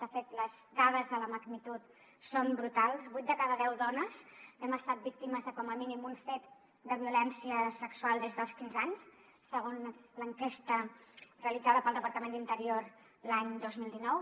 de fet les dades de la magnitud són brutals vuit de cada deu dones hem estat víctimes de com a mínim un fet de violència sexual des dels quinze anys segons l’enquesta realitzada pel departament d’interior l’any dos mil dinou